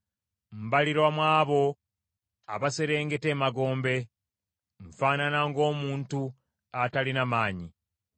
Mbalirwa mu abo abaserengeta emagombe; nfaanana ng’omuntu atalina maanyi.